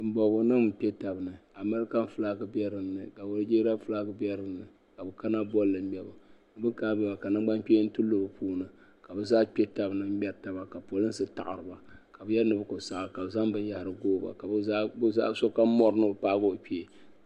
Tiŋ bɔbigu nim n kpɛ taba ni American flak bɛ dinni ka Nigeria flak bɛ dinni ka bɛ kana bolli ŋmɛbu bin kana boli maa ka nangban kpɛni ti lu bɛ ni ka bɛ zaa kpɛ taba ni ŋmɛritaba ka polinsi taɣiriba ka bɛ yɛli ni bɛ ku saɣi ka so kam bori ni paai o kpee.